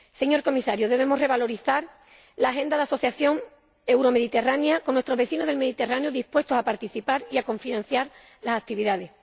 Señor Comisario, debemos revalorizar la agenda de la Asociación Euromediterránea con nuestros vecinos del Mediterráneo dispuestos a participar y a cofinanciar las actividades.